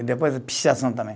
E depois a pichação também.